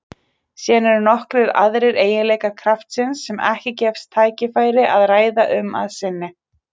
Síðan eru nokkrir aðrir eiginleikar kraftsins sem ekki gefst tækifæri að ræða um að sinni.